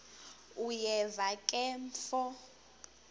uyeva ke mfo